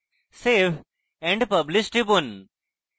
save and publish টিপুন